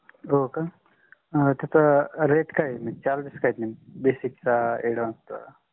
होका. तिथे rate काय आहेत नेमके charges काय आहेत नेमके basic चा advance चा